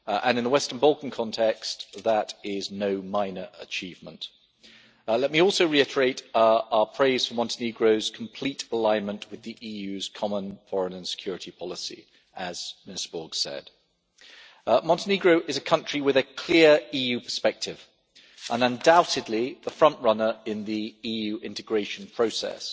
In the Western Balkan context that is no minor achievement. Let me also reiterate our praise for Montenegro's complete alignment with the EU's Common Foreign and Security Policy, as Mr Borg said. Montenegro is a country with a clear EU perspective and, undoubtedly, the front runner in the EU integration process